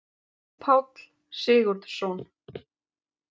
Páll Sigurðsson.